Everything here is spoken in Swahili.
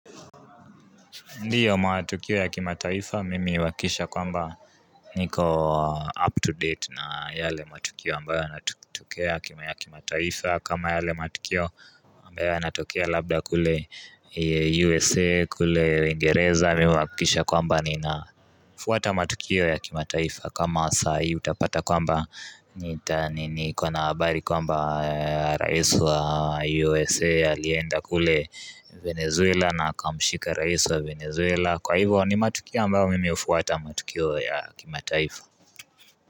Ndiyo matukio ya kimataifa, mimi huakikisha kwamba niko up to date na yale matukio ambayo yanatokea kima ya kimataifa kama yale matukio ambayo natokea labda kule USA, kule uingereza, mimi huakikisha kwamba ni nafuata matukio ya kimataifa kama saa hii utapata kwamba niko na habari kwamba rais wa USA alienda kule Venezuela na akamshika rais wa Venezuela Kwa hivyo ni matukio ambao mimi hufuata matukio ya kimataifa.